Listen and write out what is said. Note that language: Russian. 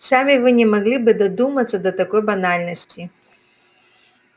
сами вы не могли бы додуматься до такой банальности